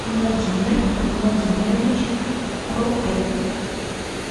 владимир владимирович кротов